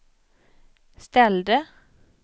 ställde